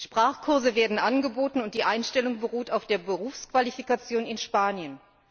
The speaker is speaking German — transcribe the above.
Sprachkurse werden angeboten, und die Einstellung beruht auf der Berufsqualifikation in Spanien.